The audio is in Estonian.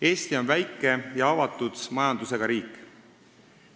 Eesti on väike ja avatud majandusega riik.